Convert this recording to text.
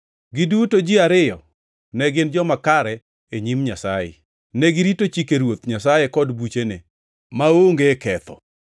Giduto ji ariyo ne gin joma kare e nyim Nyasaye, negirito chike Ruoth Nyasaye kod buchene, maonge ketho.